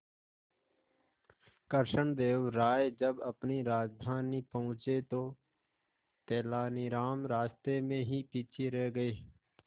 कृष्णदेव राय जब अपनी राजधानी पहुंचे तो तेलानीराम रास्ते में ही पीछे रह गए